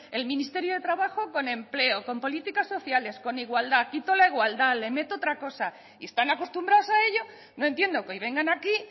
el ministerio de trabajo con empleo con políticas sociales con igualdad quito la igualdad le meto otra cosa y están acostumbrados a ello no entiendo que hoy vengan aquí